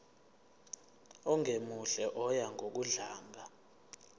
ongemuhle oya ngokudlanga